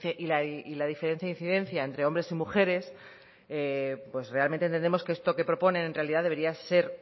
e incidencia entre hombres y mujeres pues realmente tendremos que esto que propone en realidad debería ser